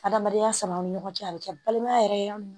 Adamadenya sama ni ɲɔgɔn cɛ a bɛ kɛ balimaya yɛrɛ